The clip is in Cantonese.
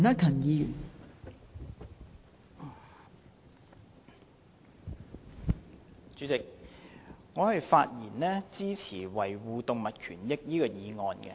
代理主席，我發言支持"維護動物權益"的議案。